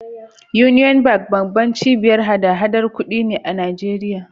Union Bank babbar cibiyar hada-hadar kuɗi ne a Najeriya.